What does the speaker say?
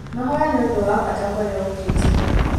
Mahoya nĩ ũndũ wa bata kũrĩ ũkristo.